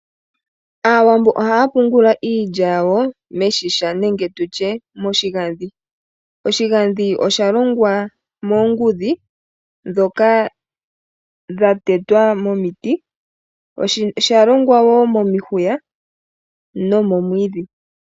Aawambo ohaya pungula iilya yawo meshisha nenge tutye moshigandhi. Oshigandhi oshalongwa moongudhi ndhoka dhatetwa momiti, oshalongwa woo momihuya nomomwiidhi.